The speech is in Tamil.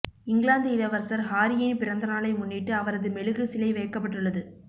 இங்கிலாந்து இளவரசர் ஹாரியின் பிறந்தநாளை முன்னிட்டு அவரது மெழுகு சிலை வைக்கப்பட்டுள்ளது